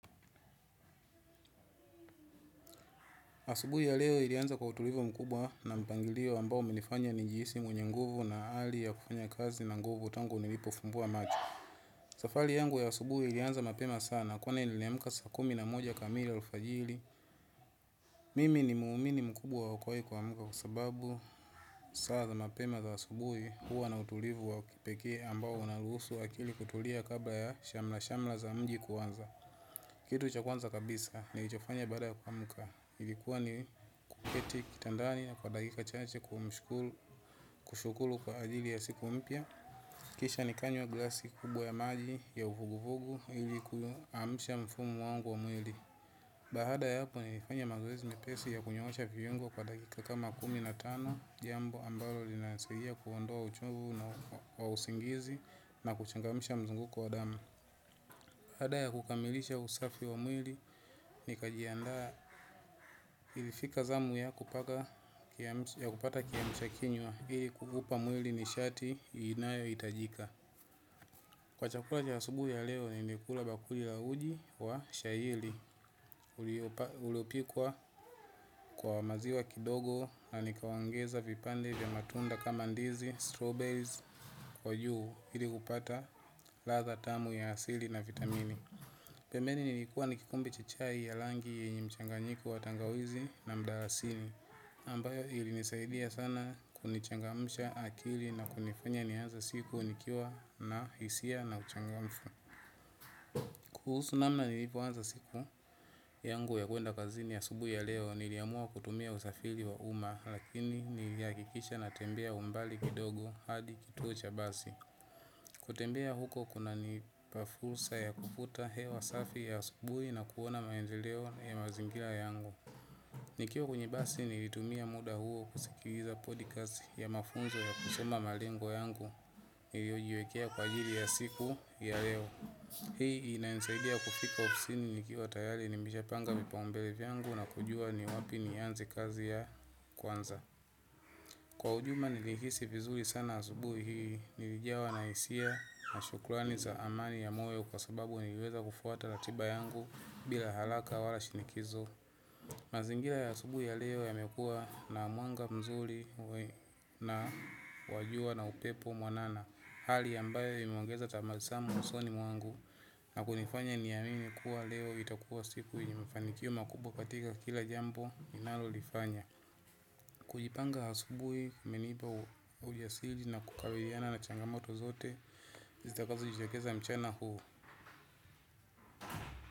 Asubuhi ya leo ilianza kwa utulivu mkubwa na mpangilio ambao umenifanya nijihisi mwenye nguvu na hali ya kufanya kazi na nguvu tangu nilipofumbua macho. Safari yangu ya asubuhi ilianza mapema sana kwani niiliamka sa kumi na moja kamili alfajiri. Mimi ni muumini mkubwa wako wai kuamka kwa sababu saa za mapema za asubuhi huwa na utulivu wa kipekee ambao unarusu akili kutulia kabla ya shamra-shamra za mji kuanza. Kitu cha kwanza kabisa nilichofanya baada ya kuamka, ilikuwa ni kuketi kitandani kwa dakika chache kumshukuru kushukuru kwa ajili ya siku mpya. Kisha nikanywa glasi kubwa ya maji ya uvuguvugu ili kuasha mfumo wangu wa mwili. Baada ya hapo nilifanya mazoezi mepesi ya kunyoosha viungo kwa dakika kama kumi na tano jambo ambalo linasaidia kuondoa uchovu na wa usingizi na kuchangamsha mzunguko wa damu. Baada ya kukamilisha usafi wa mwili nikajiandaa ilifika zamu ya kupata kiamsha kinywa. Hii kukupa mwili ni shati inayohitajika. Kwa chakula cha asubuhi ya leo ni nikula bakuli la uji wa shahiri. Uliopikwa kwa maziwa kidogo na nikaongeza vipande ya matunda kama ndizi, strawberries, kwa juu. Ili kupata ladha tamu ya asili na vitamini. Pembeni nilikuwa ni kikombe cha chai ya rangi yenye mchanganyiku wa tangawizi na mdarasini ambayo ilinisaidia sana kunichangamsha akili na kunifanya nianze siku nikiwa na hisia na uchangamfu. Kuhusu namna nilipo anza siku yangu ya kuenda kazini ya asubuhi ya leo niliamua kutumia usafiri wa uma lakini nilihakikisha na tembea umbali kidogo hadi kituo cha basi. Kutembea huko kuna nipa fursa ya kuvuta hewa safi ya asubuhi na kuona maendeleo ya mazingira yangu. Nikiwa kwenye basi nilitumia muda huo kusikiliza podcast ya mafunzo ya kusoma malengo yangu niliojiwekea kwa ajili ya siku ya leo. Hii inainsaidia kufika ofsini nikiwatayari nimeshapanga vipao mbele vyangu na kujua ni wapi nianze kazi ya kwanza. Kwa ujumla nilihisi vizuri sana asubui hii, nilijawa na hisia, mashukrani za amani ya myoo kwa sababu niliweza kufuata ratiba yangu bila haraka wala shinikizo. Mazingira ya asubuhi ya leo yamekua na mwanga mzuri na wa jua na upepo mwanana, hali ambayo imeongeza tabasamu usoni mwangu na kunifanya niamini kuwa leo itakuwa siku yenye mafanikio makubwa katika kila jambo ninalo lifanya. Kujipanga asubuhi, kumenipa ujasiri na kubaliana na changamoto zote zitakazo jitokeza mchana huu.